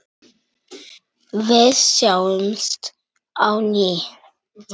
Við sjáumst á ný.